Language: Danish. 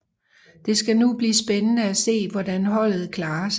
Det skal nu blive spændende at se hvordan holdet klarer sig